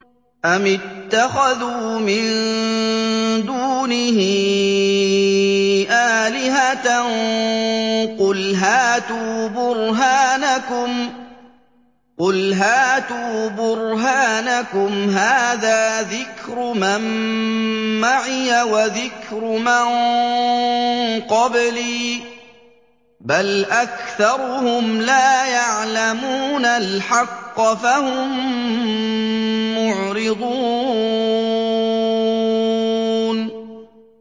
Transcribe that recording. أَمِ اتَّخَذُوا مِن دُونِهِ آلِهَةً ۖ قُلْ هَاتُوا بُرْهَانَكُمْ ۖ هَٰذَا ذِكْرُ مَن مَّعِيَ وَذِكْرُ مَن قَبْلِي ۗ بَلْ أَكْثَرُهُمْ لَا يَعْلَمُونَ الْحَقَّ ۖ فَهُم مُّعْرِضُونَ